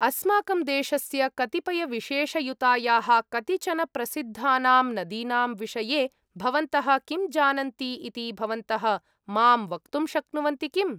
अस्माकं देशस्य कतिपयविशेषयुतायाः कतिचन प्रसिद्धानां नदीनां विषये भवन्तः किं जानन्ति इति भवन्तः मां वक्तुं शक्नुवन्ति किम्?